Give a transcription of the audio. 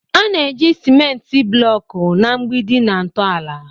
A na-eji ciment blocks na mgbidi na ntọala.